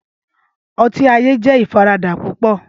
Ọti aye jẹ ifarada pupọ.